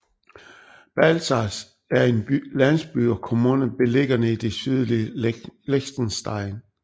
Balzers er en landsby og kommune beliggende i det sydlige Liechtenstein